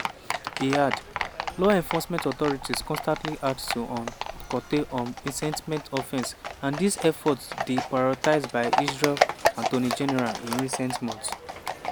e add: “law enforcement authorities constantly act to um curtail um incitement offences and dis effort dey prioritised by israel attorney general in recent months.”